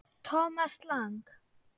Thomas Lang